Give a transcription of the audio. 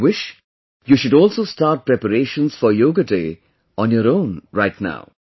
I wish you should also start preparations for 'Yoga Day' on your own right now